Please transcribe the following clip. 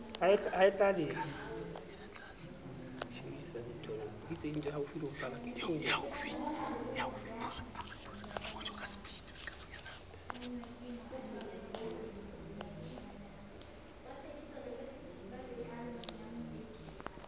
ka kakaretso le c ho